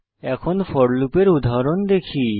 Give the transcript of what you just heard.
এখন ফোর লুপের উদাহরণ দেখি